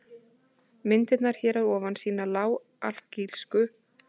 Myndirnar hér að ofan sýna lág-alkalísku og alkalísku syrpurnar á Íslandi.